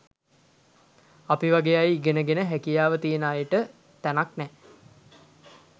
අපි වගේ ඉගෙන ගෙන හැකියාව තියෙන අයට තැනක් නැහැ.